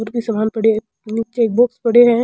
और कोई सामान पड़ो है निचे एक बॉक्स पड़ो है।